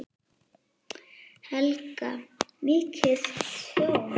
Helga: Mikið tjón?